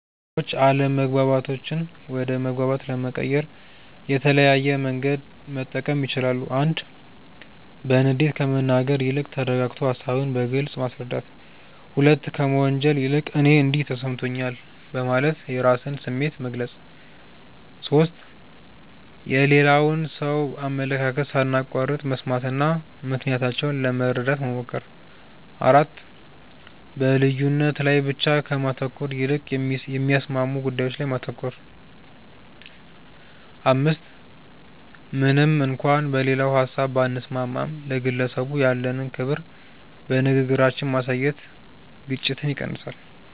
ሰዎች አለመግባባቶችን ወደ መግባባት ለመቀየር የተለያየ መንገድ መጠቀም ይችላሉ፦ 1. በንዴት ከመናገር ይልቅ ተረጋግቶ ሃሳብን በግልጽ ማስረዳት። 2. ከመወንጀል ይልቅ "እኔ እንዲህ ተሰምቶኛል" በማለት የራስን ስሜት መግለጽ። 3. የሌላውን ሰው አመለካከት ሳናቋርጥ መስማትና ምክንያታቸውን ለመረዳት መሞከር። 4. በልዩነት ላይ ብቻ ከማተኮር ይልቅ የሚያስማሙ ጉዳዮች ላይ ማተኮር። 5. ምንም እንኳን በሌላው ሀሳብ ባንስማማም፣ ለግለሰቡ ያለንን ክብር በንግግራችን ማሳየት ግጭትን ይቀንሳል።